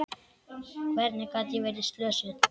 Hvernig gat ég verið slösuð?